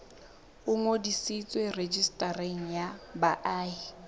o ngodiswe rejistareng ya baahi